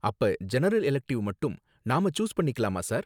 அப்ப general elective மட்டும் நாம ச்சூஸ் பண்ணிக்கலாமா சார்